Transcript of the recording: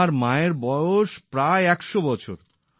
আমার মায়ের বয়স প্রায় একশ বছর